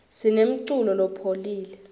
sinemculo lopholile